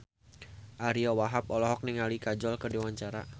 Ariyo Wahab olohok ningali Kajol keur diwawancara